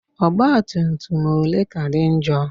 Ọgbatumtum ole ka dị njọ?